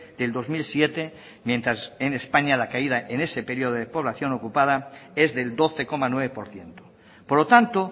del dos mil siete mientras en españa la caída en ese periodo de población ocupada es del doce coma nueve por ciento por lo tanto